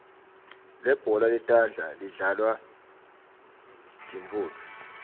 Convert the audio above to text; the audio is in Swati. libhola letandla lidlalwa tintfounto